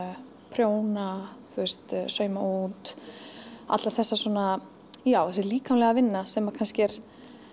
prjóna sauma út allar þessa svona já þessi líkamlega vinna sem kannski er